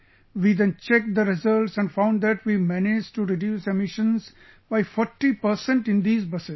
We then checked the results and found that we managed to reduce emissions by forty percent in these buses